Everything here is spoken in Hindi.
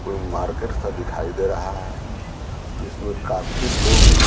कोई मार्केट था दिखाई दे रहा है जिसमें काफी लोग--